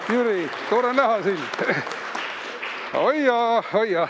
Noh, Jüri, tore näha sind!